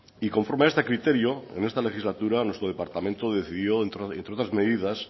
y conforme a este criterio en esta legislatura nuestro departamento decidió entre otras medidas